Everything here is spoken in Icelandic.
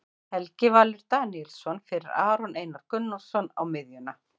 Helgi Valur Daníelsson fyrir Aron Einar Gunnarsson á miðjuna.